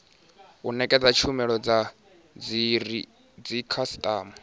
u nekedza tshumelo kha dzikhasitama